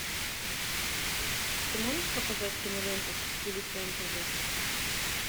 ты можешь показать киноленту в стиле фэнтези